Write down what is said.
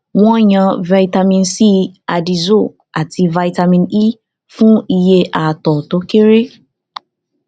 wọn yàn vitamin c addyzoa àti vitamin e fún iye àtọ tó kéré